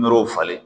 Nɔrɔw falen